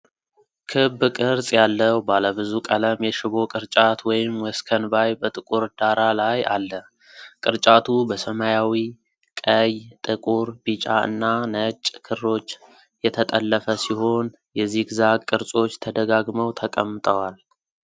ክብ ቅርጽ ያለው ባለ ብዙ ቀለም የሽቦ ቅርጫት ወይም ወስከንባይ በጥቁር ዳራ ላይ አለ። ቅርጫቱ በሰማያዊ፣ ቀይ፣ ጥቁር፣ ቢጫ እና ነጭ ክሮች የተጠለፈ ሲሆን፣ የዚግዛግ ቅርጾች ተደጋግመው ተቀምጠዋል።